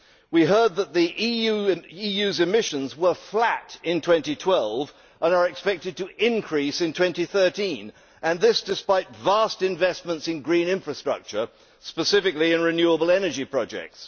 We heard that the EU's emissions were flat in 2012 and are expected to increase in 2013 this despite vast investments in green infrastructure, specifically in renewable energy projects.